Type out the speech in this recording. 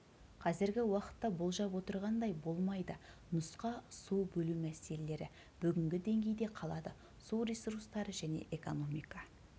қазіргі уақытта болжап отырғандай болмайды нұсқа су бөлу мәселелері бүгінгі деңгейде қалады су ресурстары және экономика